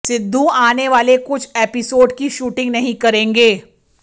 सिद्धू आने वाले कुछ एपिसोड की शूटिंग नहीं करेंगे